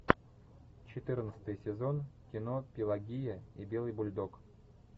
четырнадцатый сезон кино пелагия и белый бульдог